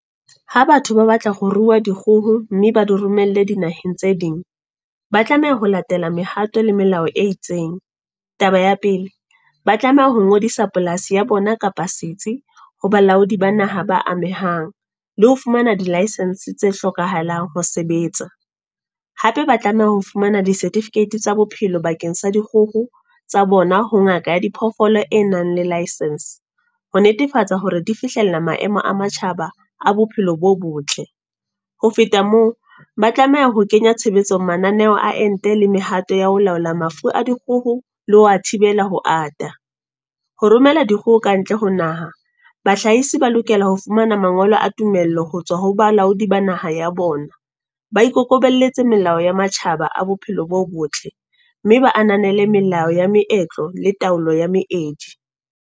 Ha batho ba batla ho rua dikgoho, mme ba di romelle di naheng tse ding. Ba tlameha ho latela mehato le melao e itseng. Taba ya pele, ba tlameha ho ngodisa polasi ya bona kapa setsi, ho balaodi ba naha ba amehang. Le ho fumana di-licence tse hlokahalang ho sebetsa. Hape ba tlameha ho fumana di-certificate tsa bophelo bakeng sa dikgoho, tsa bona ho ngaka ya diphoofolo e nang le licence. Ho netefatsa hore di fihlella maemo a matjhaba a bophelo bo botle. Ho feta moo, ba tlameha ho kenya tshebetsong mananeo a ente le mehato ya ho laola mafu a dikgoho, le ho wa thibela ho ata. Ho romela dikgoho kantle ho naha. Bahlahisi ba lokela ha ho fumana mangolo a tumello ho tswa ho balaodi ba naha ya bona. Ba ikokobelletse melao ya matjhaba a bophelo bo botle. Mme ba ananele melao ya meetlo, le taolo ya meedi.